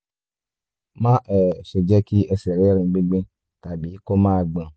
má um ṣe jẹ́ kí ẹsẹ̀ rẹ rin gbingbin tàbí kó máa gbọ̀n